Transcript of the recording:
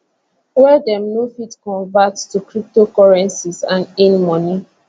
wey dem go fit convert to cryptocurrencies and earn money